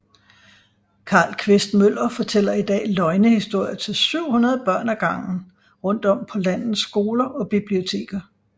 Carl Quist Møller fortæller i dag løgnehistorier til 700 børn ad gangen rundt om på landets skoler og biblioteker